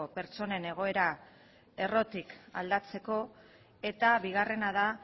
pertsonen egoera errotik aldatzeko eta bigarrena da